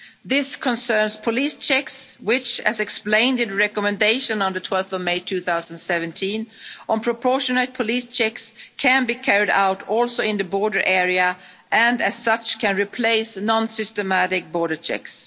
results. This concerns police checks, which, as explained in the recommendation of 12 May 2017 on proportionate police checks, can also be carried out in the border area and as such can replace non-systematic border